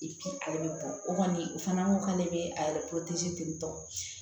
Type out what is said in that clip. ale bɛ bɔ o kɔni o fana ko k'ale bɛ a yɛrɛ ten tɔ